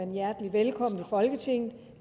folketinget